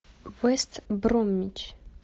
вест бромвич